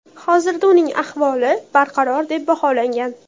Hozirda uning ahvoli barqaror deb baholangan.